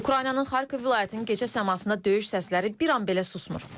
Ukraynanın Xarkov vilayətinin gecə səmasında döyüş səsləri bir an belə susmur.